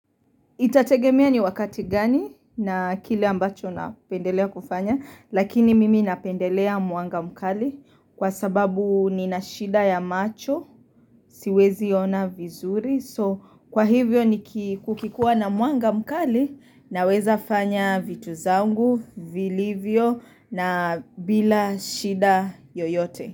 Itategemia ni wakati gani na kile ambacho napendelea kufanya, lakini mimi napendelea mwanga mkali kwa sababu ni na shida ya macho, siwezi kuona vizuri. So kwa hivyo ni kukikua na mwanga mkali na weza fanya vitu zangu, vilivyo na bila shida yoyote.